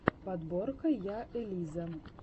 подборка я элиза